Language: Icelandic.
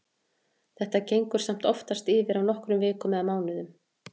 Þetta gengur samt oftast yfir á nokkrum vikum eða mánuðum.